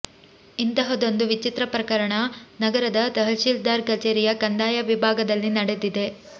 ಇಂತಹದ್ದೊಂದು ವಿಚಿತ್ರ ಪ್ರಕರಣ ನಗರದ ತಹಶೀಲ್ದಾರ್ ಕಚೇರಿಯ ಕಂದಾಯ ವಿಭಾಗದಲ್ಲಿ ನಡೆದಿದೆ